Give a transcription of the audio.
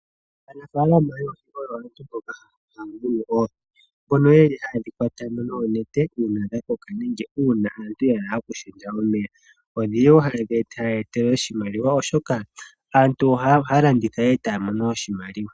Aanafaalama yoohi oyo aantu mboka ha ya munu oohi. Mbono ye li ha ye dhi kwata mo noonete uuna dha koka nenge uuna aantu ya hala oku hinda omeya. Odhi li wo ha ye dhi etele oshimaliwa oshoka aantu oha ya landitha e ta ya mono oshimaliwa.